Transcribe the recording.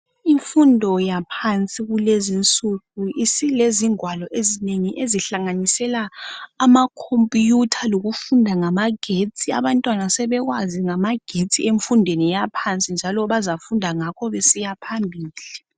Imfundo yaphansi kulezinsuku isilezingwalo ezinengi ezihlanganisela amakhompiyutha lokufunda ngamagetsi abantwana sebekwazi ngamagetsi emfundweni yaphansi njalo bazafunda ngakho besiya phambili.